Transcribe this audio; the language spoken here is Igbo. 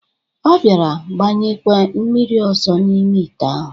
Ọ bịara gbanyekwe mmiri ọzọ n'ime ite ahụ.